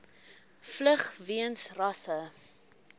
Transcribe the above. vlug weens rasse